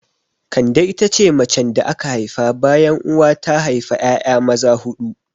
Kande ita ce macen da aka haifa bayan uwa ta haifa 'ya'ya maza huɗu.